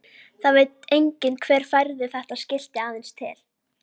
Það veit enginn hver færði þetta skilti aðeins til.